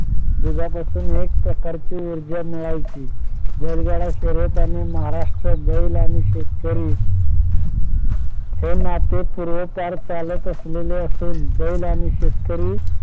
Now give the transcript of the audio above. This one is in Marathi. दुधापासून एक प्रकारची ऊर्जा मिळायची बैलगाडा शर्यत आणि महाराष्ट्रात बैल आणि शेतकरी हे नाते पूर्वापार चालत असलेले असून बैल आणि शेतकरी